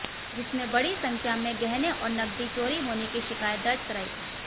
जिसमें बड़ी संख्या में गहने और नकदी चोरी होने की शिकायत दर्ज कराई थी